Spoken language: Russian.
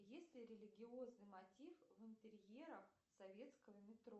есть ли религиозный мотив в интерьерах советского метро